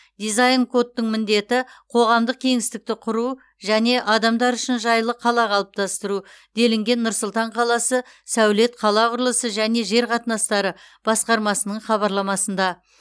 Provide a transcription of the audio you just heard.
дизайн кодтың міндеті қоғамдық кеңістікті құру және адамдар үшін жайлы қала қалыптастыру делінген нұр сұлтан қаласы сәулет қала құрылысы және жер қатынастары басқармасының хабарламасында